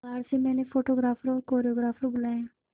बाहर से मैंने फोटोग्राफर और कोरियोग्राफर बुलाये है